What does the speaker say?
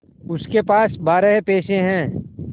उसके पास बारह पैसे हैं